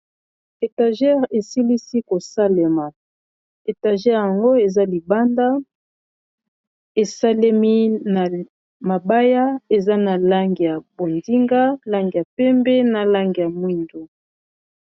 Etagere esilisi kosalema etagere yango eza libanda esalemi na mabaya eza na lange ya bondinga, lange ya pembe, na lange ya mwindo.